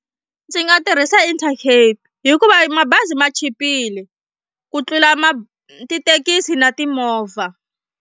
Ndzi nga tirhisa Intercape hikuva mabazi ma chipile ku tlula ma tithekisi na timovha.